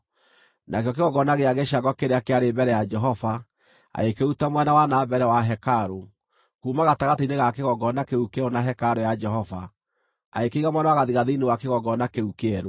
Nakĩo kĩgongona gĩa gĩcango kĩrĩa kĩarĩ mbere ya Jehova, agĩkĩruta mwena wa na mbere wa hekarũ, kuuma gatagatĩ-inĩ ga kĩgongona kĩu kĩerũ na hekarũ ya Jehova, agĩkĩiga mwena wa gathigathini wa kĩgongona kĩu kĩerũ.